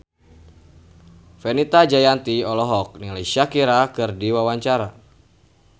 Fenita Jayanti olohok ningali Shakira keur diwawancara